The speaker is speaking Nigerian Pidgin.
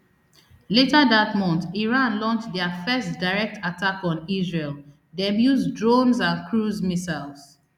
later dat month iran launch dia first direct attack on israel dem use drones and cruise missiles